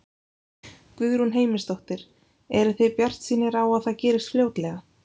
Guðrún Heimisdóttir: Eruð þið bjartsýnir á að það gerist fljótlega?